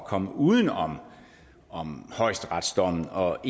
komme uden om om højesteretsdommen og